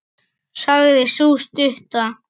sagði sú stutta.